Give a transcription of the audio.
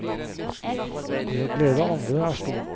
Det å glede andre er stort.